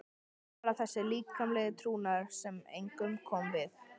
Bara þessi líkamlegi trúnaður sem engum kom við.